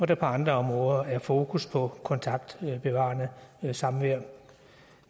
der på andre områder er fokus på kontaktbevarende samvær